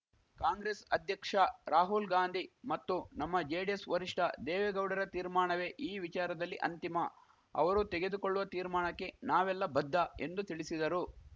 ಕಾಂಗ್ರೆಸ್‌ ಅಧ್ಯಕ್ಷ ರಾಹುಲ್‌ಗಾಂಧಿ ಮತ್ತು ನಮ್ಮ ಜೆಡಿಎಸ್‌ ವರಿಷ್ಠ ದೇವೇಗೌಡರ ತೀರ್ಮಾಣವೇ ಈ ವಿಚಾರದಲ್ಲಿ ಅಂತಿಮ ಅವರು ತೆಗೆದುಕೊಳ್ಳುವ ತೀರ್ಮಾಣಕ್ಕೆ ನಾವೆಲ್ಲ ಬದ್ಧ ಎಂದು ತಿಳಿಸಿದರು